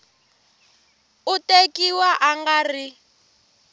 u tekiwa a nga ri